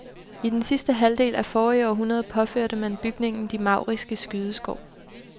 I det sidste halvdel af forrige århundrede påførte man bygningen de mauriske skydeskår.